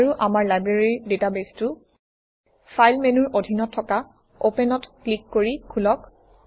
আৰু আমাৰ লাইব্ৰেৰী ডাটাবেছটো ফাইল মেনুৰ অধীনত থকা Open অত ক্লিক কৰি খোলক